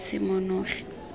semonogi